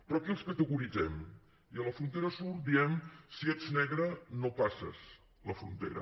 però aquí els categoritzem i a la frontera sud diem si ets negre no passes la frontera